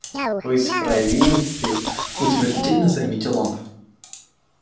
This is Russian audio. вы из провинции утвердительно заметил он